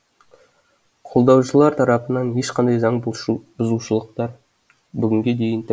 қолдаушылар тарапынан ешқандай заң бұзушылықтар бүгінге дейін